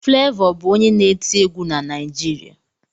Flevọ bụ onye na-eti egwu na Naịjirịa